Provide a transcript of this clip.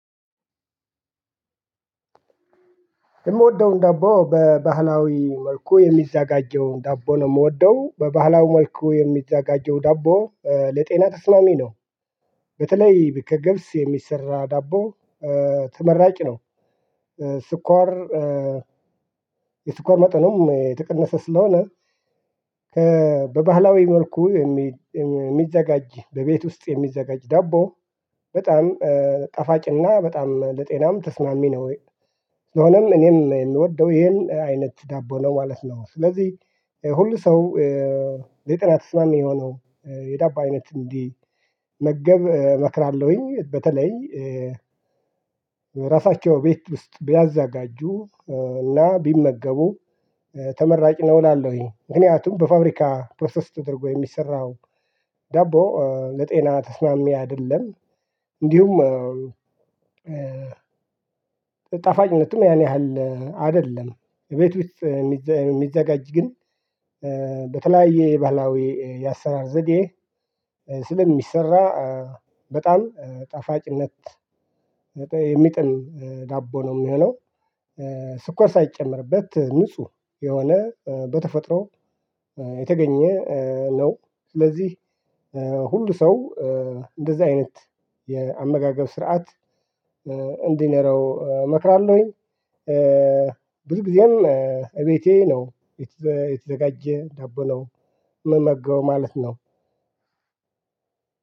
የምወደውን ዳቦ በባህላዊ መልኩ የሚዘጋጀውን ዳቦ ነው የምወደው በባህላዊ መልኩ የሚዘጋጀው ዳቦ ለጤና ተስማሚ ነው። በተለይ ከገብስ የሚሰራ ዳቦ ተመራጭ ነው። ስኳር የስኳር መጠኑም የተቀነሰ ስለሆነ። በባህላዊ መልኩ የሚዘጋጅ በቤት ውስጥ የሚዘጋጅ ዳቦ በጣም ጣፋጭና በጣም ለጤናም ተስማሚ ነው። ስለሆነም እኔም የምወደው ይሄን አይነት ዳቦ ነው ማለት ነው። ስለዚህ ሁሉ ሰው ለጤና ተስማሚ የሆነው የዳባ አይነት እንዲመገብ እመክራለሁኝ። በተለይ ራሳቸው ቤት ውስጥ ቢያዘጋጁ እና ቢመገቡ ተመራጭ ነው እላለሁኝ። ምክንያቱም በፋብሪካ ፕሮሰስ ተደርጎ የሚሰራው ዳቦ ለጤና ተስማሚ አይደለም። እንዲሁም ጠፋጭነትም ያን ያህል አይደለም። ቤት ውስጥ የሚዘጋጅ ግን በተለያየ የባህላዊ የአሰራር ዘዴ ስለሚሰራ በጣም ጣፋጭነት የሚጥም ዳቦ ነው የሚሆነው። ስኳር ሳይጨመርበት ንጹህ የሆነ በተፈጥሮ የተገኘ ነው። ስለዚህ ሁሉ ሰው እንደዚህ አይነት የአመጋገብ ስርዓት እንዲኖረው እመክራለሁኝ። ብዙ ጊዜም እቤቴ ነው የተዘጋጀ ዳቦ ነው ምመገበው ማለት ነው።